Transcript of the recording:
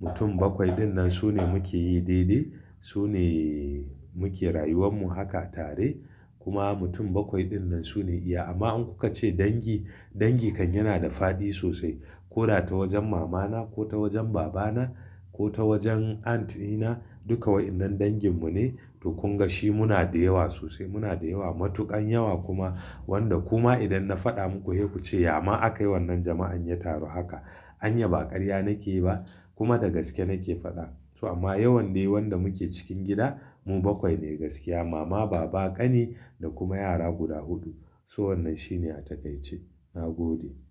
mutum bakwai. Waɗannan su ne muke yi daidai, su ne muke rayuwanmu haka tare. Kuma mutum bakwai ɗinnan su ne iya. Amma in kuka ce dangi, dangi kan yana da faɗi sosai. Ko ta wajen mamana ko ta wajen babana ko ta wajen aunt ina, duka wayannan danginmu ne. Kun ga shi muna da yawa sosai, muna da yawa matukan yawa kuma. Wanda kuma idan na faɗa muku, he ku ce, "Ya ma aka yi wannan jama'an ya taru haka?" Anya, ba ƙarya nake yi ba kuma da gaske nake faɗa. Amma yawan dai wanda muke cikin gida mu bakwai ne gaskiya. Mama, baba, kani da kuma yara guda huɗu. So wannan shine a takaice. Na gode.